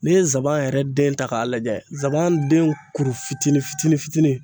N'i ye zaban yɛrɛ den ta k'a lajɛ zaban den kuru fitinin fitinin fitinin